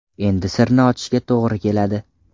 Endi sirni ochishga to‘g‘ri keladi.